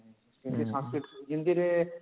Hindi Sanskrit Hindi ରେ